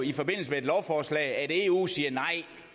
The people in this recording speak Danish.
i forbindelse med et lovforslag opleve at eu siger nej